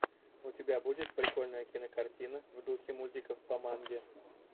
у тебя будет прикольная кинокартина в духе мультиков по манге